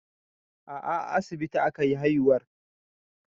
A'a a asibiti akayi haihuwar